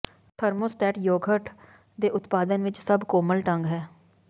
thermostat yoghurt ਦੇ ਉਤਪਾਦਨ ਵਿਚ ਸਭ ਕੋਮਲ ਢੰਗ ਹੈ